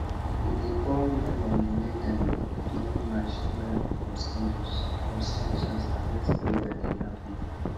we dey pour melon wey dem don mash well for stones for stones as harvest prayer dey happen